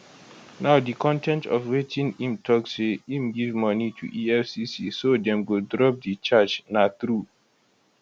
now di con ten t of wetin im tok say im give money to efcc so dem go drop di charge na true